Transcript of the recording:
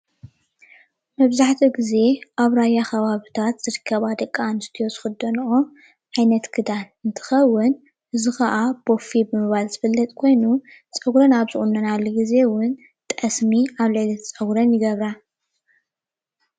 ኣብ ከባብታት ራያ ዝኽደነኦ ኽዳን ቦፌ ዝበሃል እንትኸውን ኣብ ርእሰን እውን ጠስሚ ይገብራ።